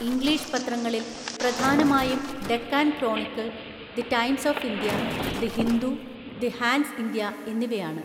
English പത്രങ്ങളിൽ പ്രധാനമായും Deccan Chronicle, the Times of India, the Hindu, the Hans India എന്നിവയാണ്.